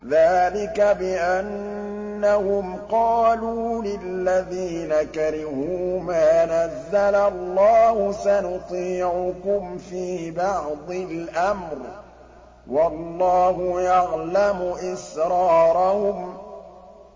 ذَٰلِكَ بِأَنَّهُمْ قَالُوا لِلَّذِينَ كَرِهُوا مَا نَزَّلَ اللَّهُ سَنُطِيعُكُمْ فِي بَعْضِ الْأَمْرِ ۖ وَاللَّهُ يَعْلَمُ إِسْرَارَهُمْ